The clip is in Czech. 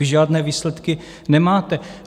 Vy žádné výsledky nemáte.